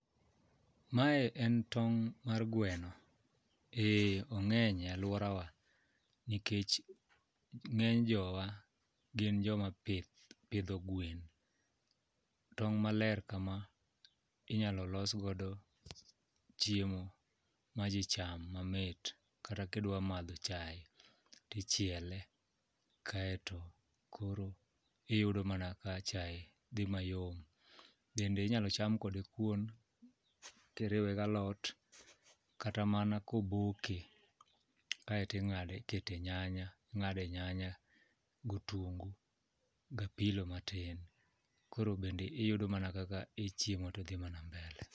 Mae en tong' mar gweno. Eh ong'eny e alworawa nikech ng'eny jowa gin joma pidho gwen, tong' maler kama inyalo los godo chiemo ma ji cham mamit kata kidwa madho chae tichiele kaeto koro iyudo mana ka chae dhi mayom. Bende inyalo cham kode kuon kiriwe galot kata mana koboke kaeto ikete nyanya ikete nyanya gotungu gapilo matin, koro bende iyudo mana kaka ichiemo tidhi mana mbele.